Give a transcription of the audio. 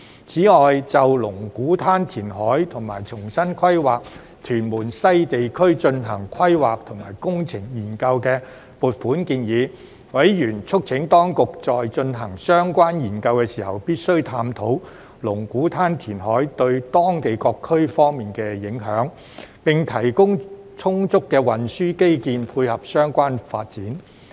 此外，就龍鼓灘填海和重新規劃屯門西地區進行規劃及工程研究的撥款建議，委員促請當局在進行相關研究時必須探討龍鼓灘填海對當區各方面的影響，並提供充足的運輸基建配合相關發展。